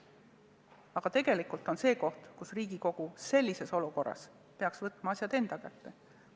Aga tegelikult on see selline koht, kus Riigikogu sellises olukorras peaks võtma asjad enda kätte.